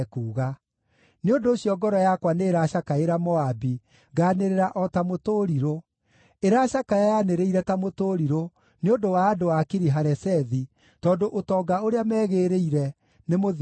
“Nĩ ũndũ ũcio ngoro yakwa nĩĩracakaĩra Moabi, nganĩrĩra o ta mũtũrirũ; ĩracakaya yanĩrĩire ta mũtũrirũ nĩ ũndũ wa andũ a Kiri-Haresethi, tondũ ũtonga ũrĩa megĩrĩire nĩmũthiru biũ.